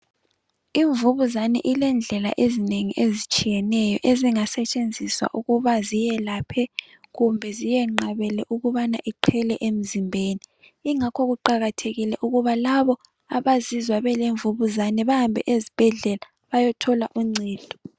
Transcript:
Imvukuzane ilendlela ezinengi ezitshiyeneyo ezinga setshenziswayo ukuthi ziyelaphe kumbe ziyinqabele ukuthi iqele emzimbeni yingakho kuqakathekile ukuthi laba abazizwa belemvukuzane baye esibhedlela bayethola uncedo